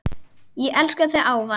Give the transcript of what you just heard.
Ég elska þig ávallt.